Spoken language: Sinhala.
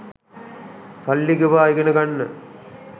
සල්ලි ගෙවා ඉගෙන ගන්න